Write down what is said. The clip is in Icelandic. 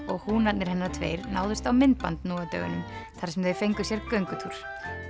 og húnarnir hennar tveir náðust á myndband nú á dögunum þar sem þau fengu sér göngutúr